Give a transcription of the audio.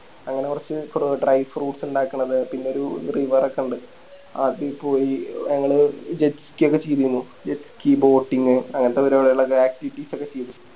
അങ്ങനെ കൊറച്ച് ക്രൂ Dry fruites ഇണ്ടാക്കണത് പിന്നെ ഒരു River ഒക്കെണ്ട് അതി പോയി ഞങ്ങള് Jet ski ഒക്കെ ചെയ്തിന്നു Jet ski boating അങ്ങനത്തെ പരിപാടികളൊക്കെ Activities ഒക്കെ ചെയ്തിരുന്നു